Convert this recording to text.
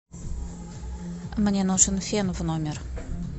мне нужен фен в номер